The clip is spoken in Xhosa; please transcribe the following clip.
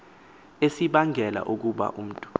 esibangela ukuba umntu